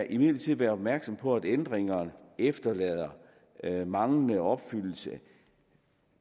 imidlertid være opmærksom på at ændringerne efterlader manglende opfyldelse